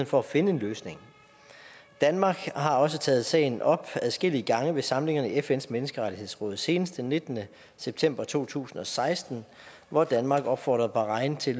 for at finde en løsning danmark har også taget sagen op adskillige gange ved samlinger i fns menneskerettighedsråd senest den nittende september to tusind og seksten hvor danmark opfordrede bahrain til